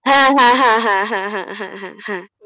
হ্যাঁ হ্যাঁ হ্যাঁ হ্যাঁ হ্যাঁ হ্যাঁ হ্যাঁ,